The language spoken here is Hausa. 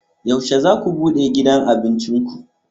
Yaushe za ku bude gidan abincin ku?